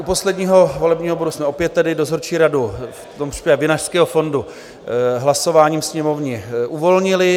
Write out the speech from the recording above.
U posledního volebního bodu jsme opět tedy dozorčí radu, v tomto případě Vinařského fondu, hlasováním Sněmovny uvolnili.